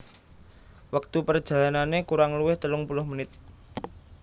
Wektu perjalanane kurang luwih telung puluh menit